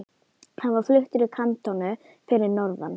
Hann var fluttur í kantónu fyrir norðan.